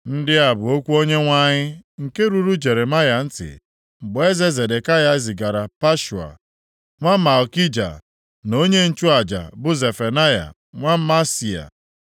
Ndị a bụ okwu Onyenwe anyị, nke ruru Jeremaya ntị mgbe eze Zedekaya zigara Pashua nwa Malkija, na onye nchụaja bụ Zefanaya nwa Maaseia,